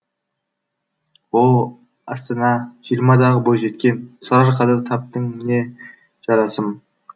о астана жиырмадағы бойжеткен сарыарқада таптың міне жарасым